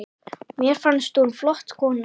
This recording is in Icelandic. Mér fannst hún flott kona.